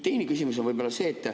Teine küsimus on see.